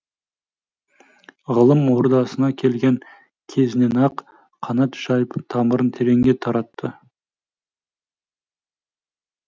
ғылым ордасына келген кезінен ақ қанат жайып тамырын тереңге таратты